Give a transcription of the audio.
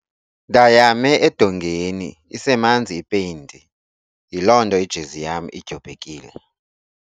Ndayame edongeni isemanzi ipeyinti yiloo nto ijezi yam idyobhekile.